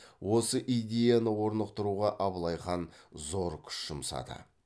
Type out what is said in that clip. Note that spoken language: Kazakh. осы идеяны орнықтыруға абылай хан зор күш жұмсады